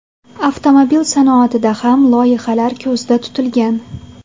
Avtomobil sanoatida ham loyihalar ko‘zda tutilgan.